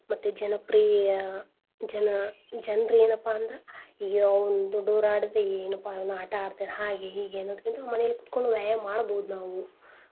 ಮತ್ತೆ ಜನಪ್ರಿಯ ಜನ ಜನ್ರ್ ಎನಪಾ ಅಂದ್ರ ಅಯ್ಯೋ ಅವ್ನ ದೊಡ್ಡೋರಾಡಿದ್ರೆ ಎನ್ ಪಾ ಇವ್ನು ಆಟಾ ಆಡ್ತಾನೇ ಹಾಗೇ ಹೀಗೆ ಅನ್ನೋದಕಿಂತನು ಮನೆಲ್ ಕೂತ್ಕೊಂಡ್ ವ್ಯಾಯಾಮ್ ಮಾಡ್ಬೋದ್ ನಾವು.